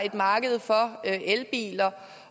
et marked for elbiler